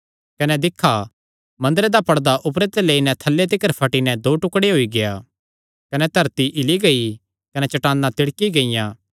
कने दिक्खा मंदरे दा पड़दा ऊपरे ते लेई नैं थल्लै तिकर फटी नैं दो टुकड़े होई गेआ कने धरती हिल्ली गेई कने चट्टाना तिड़की गियां